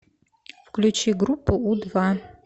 включи группу у два